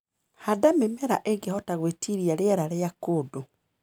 Handa mĩmera ĩngĩhota gwĩtiria riera rĩa kũndu.